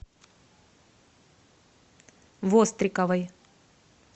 востриковой